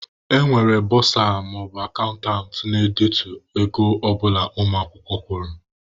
E nwere bọsa/akantant na-edetu ego ọ bụla ụmụ akwụkwọ kwụrụ.